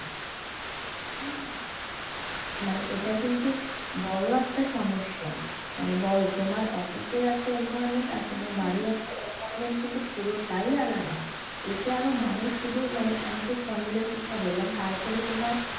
মানে এইটা কিন্তু হম বড়ো একটা সমস্যা মানে বড়ো তোমার অফিসের একটা environment আর বাড়ির একটা environment কিন্তু পুরোটাই আলাদা এতে আরো মানুষ শুধু মানে আমি তো spondylitis টা বললাম তারপরে তোমার,